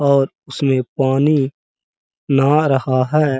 और उसमें पानी नहा रहा है।